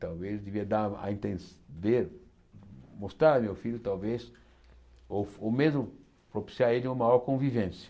Talvez devia dar a entender, mostrar meu filho, talvez, ou ou mesmo propiciar ele uma maior convivência.